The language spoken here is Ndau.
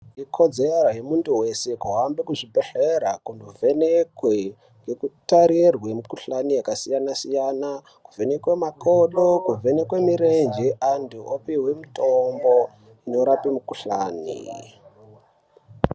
Ikodzero yemuntu wese kuhambe kuzvibhedhlera kunovhenekwe ngekutarirwe mukuhlani yakasiyana siyana , kuvenekwa makodo kuvhenekwe mirenje antu opihwe mitombo inorape mukuhlani .